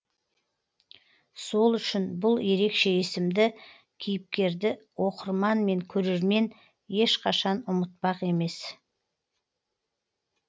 сол үшін бұл ерекше есімді кейіпкерді оқырман мен көрермен ешқашан ұмытпақ емес